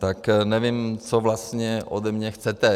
Tak nevím, co vlastně ode mě chcete.